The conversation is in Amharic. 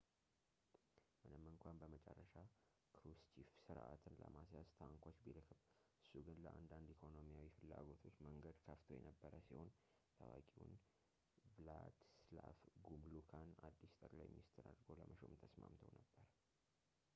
ምንም እንኳን በመጨረሻ ክሩስቺፍ ሥርዓትን ለማስያዝ ታንኮች ቢልክም እሱ ግን ለአንዳንድ ኢኮኖሚያዊ ፍላጎቶች መንገድ ከፍቶ የነበረ ሲሆን ታዋቂውን ቭላድስላቭ ጉሙልካን አዲስ ጠቅላይ ሚኒስትር አድርጎ ለመሾም ተስማምቶ ነበር